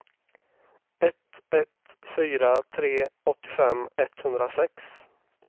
ett ett fyra tre åttiofem etthundrasex